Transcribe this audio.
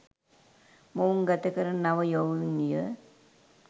මොවුන් ගත කරන නව යොවුන් විය